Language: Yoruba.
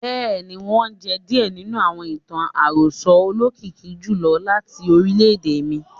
Bẹ́ẹ̀ ni, wọ́n jẹ́ díẹ̀ nínú àwọn ìtàn àròsọ olókìkí jùlọ láti orílẹ̀-èdè mi.